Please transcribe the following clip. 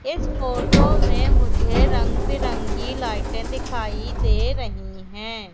इस फोटो में मुझे रंग बिरंगी लाइटें दिखाई दे रही हैं।